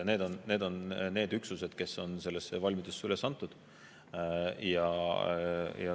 Need on üksused, kes on valmidusse üles antud.